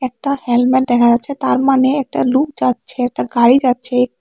একটা হেলমেট দেখা যাচ্ছে তার মানে একটা লুক যাচ্ছে একটা গাড়ি যাচ্ছে।